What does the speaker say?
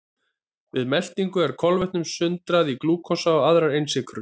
Við meltingu er kolvetnum sundrað í glúkósa og aðrar einsykrur.